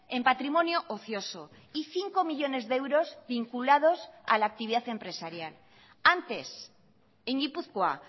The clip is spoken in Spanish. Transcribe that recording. en patrimonio ocioso y cinco millónes de euros vinculados a la actividad empresarial antes en gipuzkoa